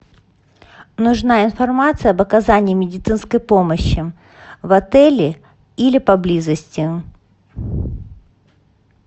нужна информация об оказании медицинской помощи в отеле или поблизости